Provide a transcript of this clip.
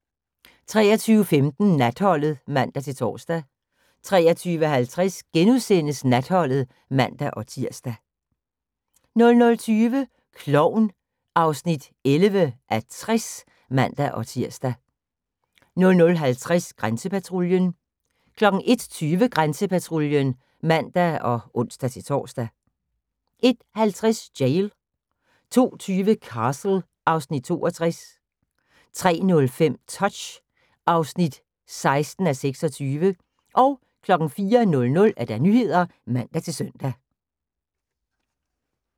23:15: Natholdet (man-tor) 23:50: Natholdet *(man-tir) 00:20: Klovn (11:60)(man-tir) 00:50: Grænsepatruljen 01:20: Grænsepatruljen (man og ons-tor) 01:50: Jail 02:20: Castle (Afs. 62) 03:05: Touch (16:26) 04:00: Nyhederne (man-søn)